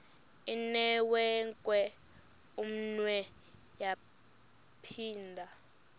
inewenkwe umnwe yaphinda